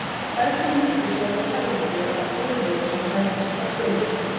Ferlinu lýkur síðan með fæðingu eða burði eins og það nefnist hjá hvölum.